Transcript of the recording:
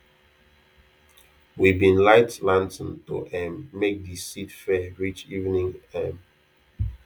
we bin light lantern to um make de seed fair reach evening um